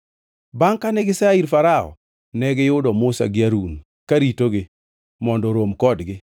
Bangʼ kane gisea ir Farao, negiyudo Musa gi Harun karitogi mondo orom kodgi,